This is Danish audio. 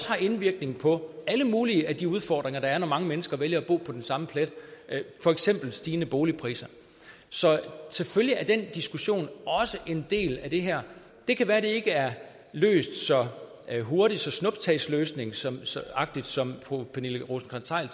har indvirkning på alle mulige af de udfordringer der er når mange mennesker vælger at bo på den samme plet for eksempel stigende boligpriser så selvfølgelig er den diskussion også en del af det her det kan være at det ikke er løst så hurtigt så snuptagsløsningsagtigt som fru pernille rosenkrantz theil